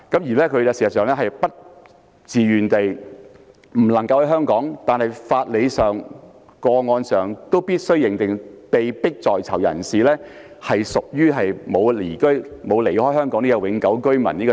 事實上，他不能身在香港，但無論從法理或個案而言，我們都必須認定，被迫在囚人士屬於沒有離開香港的永久性居民。